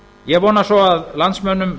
ég vona svo að landsmönnum